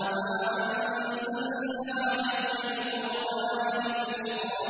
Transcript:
مَا أَنزَلْنَا عَلَيْكَ الْقُرْآنَ لِتَشْقَىٰ